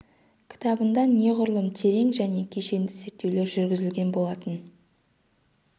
кітабында неғұрлым терең және кешенді зерттеулер жүргізілген болатын